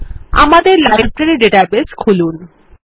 আমাদের library database খুলুন